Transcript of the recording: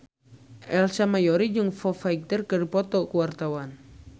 Ersa Mayori jeung Foo Fighter keur dipoto ku wartawan